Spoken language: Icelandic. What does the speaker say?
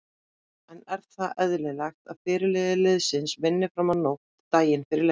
En er það eðlilegt að fyrirliði liðsins vinni fram á nótt daginn fyrir leik?